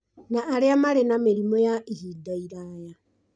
na arĩa marĩ na mĩrimũ ya ihinda iraya.